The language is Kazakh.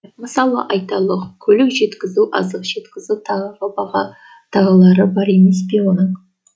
мысалы айталық көлік жеткізу азық жеткізу тағы баға тағылары бар емес пе оның